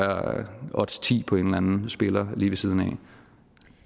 odds ti på en eller anden spiller lige ved siden af